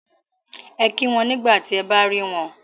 Ẹ kí wọn nígbà tí ẹ bá rí wọn